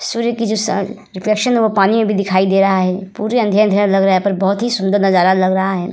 सूर्य की व पानी अभी दिखाई दे रहा है पुरे अँधेरा-अँधेरा लग रहा है पर बहुत ही सुन्दर नज़ारा लग रहा है।